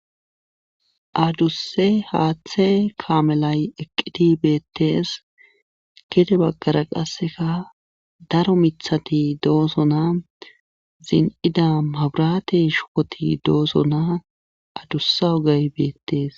addusse haaththe kaamelay eqqiti beettees kete baggara qasseka daro mithati dooso naa zin7ida magurate shukoti doosonaa adussa ogay beettees